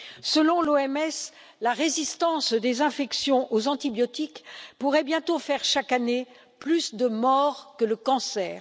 Selon l'OMS, la résistance des infections aux antibiotiques pourrait bientôt faire chaque année plus de morts que le cancer.